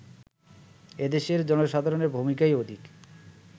এদেশের জনসাধারণের ভূমিকাই অধিক